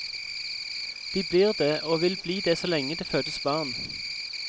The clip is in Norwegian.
De blir det, og vil bli det så lenge det fødes barn.